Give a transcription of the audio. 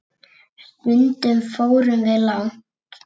Stundum fórum við langt.